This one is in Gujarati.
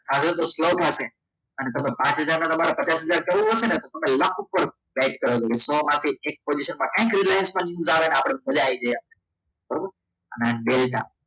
આજે તો સ્લોમાં છે અને તમે પાાચ માં પચાસ હજાર કરવો છે ને તો લાખ રૂપિયા set કરે સોમાંથી એક position માં કંઈક રિલાયન્સમાં આવે આપણે મજા આવી જઈએ બરાબર અને ડેલ્ટા